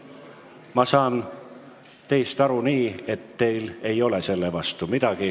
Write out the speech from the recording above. Ma saan teist aru nii, et teil ei ole midagi selle vastu.